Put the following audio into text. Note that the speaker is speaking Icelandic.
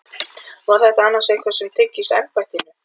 Var þetta annars eitthvað sem tengist embættinu?